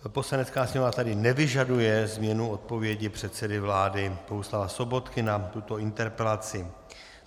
Poslanecká sněmovna tedy nevyžaduje změnu odpovědi předsedy vlády Bohuslava Sobotky na tuto interpelaci.